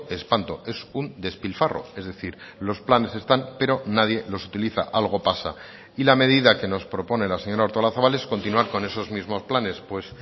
espanto es un despilfarro es decir los planes están pero nadie los utiliza algo pasa y la medida que nos propone la señora artolazabal es continuar con esos mismos planes pues